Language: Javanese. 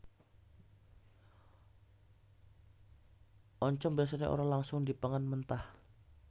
Oncom biasané ora langsung dipangan mentah